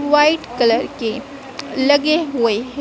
White colour के लगे हुए हैं।